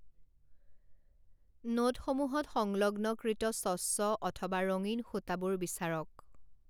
নোটসমূহত সংলগ্নকৃত স্বচ্ছ অথবা ৰঙীন সুতাবোৰ বিচাৰক।